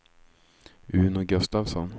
Uno Gustafsson